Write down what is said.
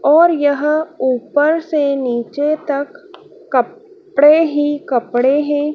और यह ऊपर से नीचे तक क पड़े ही कपड़े हैं।